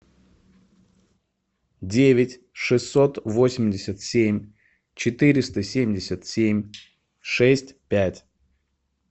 девять шестьсот восемьдесят семь четыреста семьдесят семь шесть пять